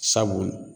Sabu